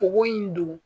Bogo in dun